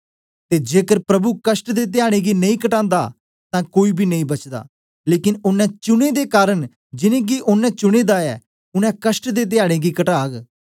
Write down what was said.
ते जेकर प्रभु कष्ट दे धयाडें गी नेई घटांदा तां कोई बी नेई बचदा लेकन ओनें चुने दे कारन जिन्नें गी ओनें चुने दा ऐ उनै कष्टें दे धयाडें गी घटाग